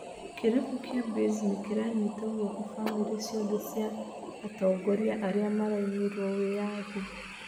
Kĩrabu kĩa Baze nĩkĩranyita guoko famĩrĩ ciothe cia atogoria arĩa maraimirwo wĩyathi.